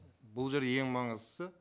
бұл жер ең маңыздысы